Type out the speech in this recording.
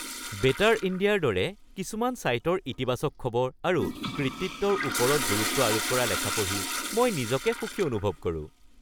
"Better ইণ্ডিয়া"ৰ দৰে কিছুমান ছাইটৰ ইতিবাচক খবৰ আৰু কৃতিত্বৰ ওপৰত গুৰুত্ব আৰোপ কৰা লেখা পঢ়ি মই নিজকে সুখী অনুভৱ কৰোঁ। (ব্যক্তি ১)